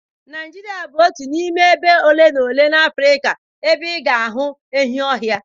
Naijiria bụ otu n'ime ebe ole na ole n'Afrịka ebe ị ga-ahụ enyi ọhịa.